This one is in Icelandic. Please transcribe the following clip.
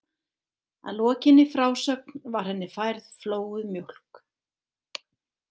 Að lokinni frásögn var henni færð flóuð mjólk.